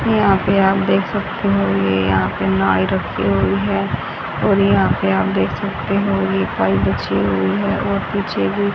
यहां पे आप देख सकते हो ये यहां पे नाई रखी हुई है और यहां पे आप देख सकते हो ये पाइप बिछी हुई है और पीछे भी --